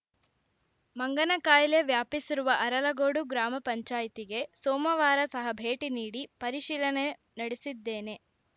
ಮಂಗನಕಾಯಿಲೆ ವ್ಯಾಪಿಸಿರುವ ಅರಲಗೋಡು ಗ್ರಾಮ ಪಂಚಾಯ್ತಿಗೆ ಸೋಮವಾರ ಸಹ ಭೇಟಿ ನೀಡಿ ಪರಿಶೀಲನೆ ನಡೆಸಿದ್ದೇನೆ